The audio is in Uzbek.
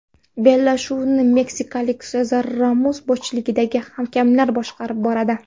Bellashuvni meksikalik Sezar Ramos boshchiligidagi hakamlar boshqarib boradi.